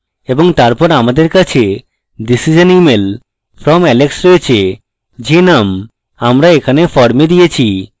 এবং তারপর আমাদের কাছে this is an email from alex রয়েছে যে name আমরা এখানে form দিয়েছি